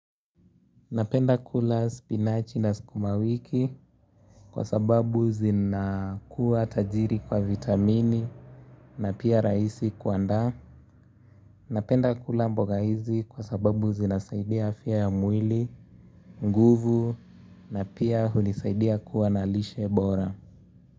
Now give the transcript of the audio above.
Napenda kula spinachi na sukumawiki kwa sababu zinakuwa tajiri kwa vitamini na pia rahisi kuandaa. Napenda kula mboga hizi kwa sababu zinasaidia afya ya mwili, nguvu na pia hunisaidia kuwa na lishe bora.